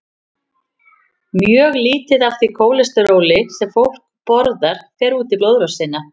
Mjög lítið af því kólesteróli sem fólk borðar fer út í blóðrásina.